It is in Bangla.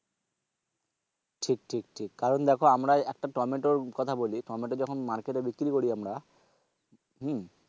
ঠিক ঠিক ঠিক কারণ দেখো আমরা একটা টমেটোর কথা বলি টমেটো যখন market এ বিক্রি করি আমরা হম